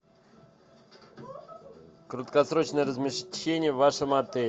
краткосрочное размещение в вашем отеле